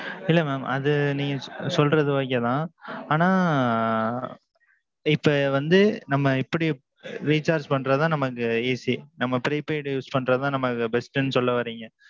இல்ல mam அது நீங்க சொல்றது okay தான். ஆனான். இப்போ வந்து நம்ம இப்பிடி recharge பண்றதுதான் நமக்கு easy நம்ம prepaid use பண்றதுதான் நமக்கு best ன்னு சொல்லவர்றீங்க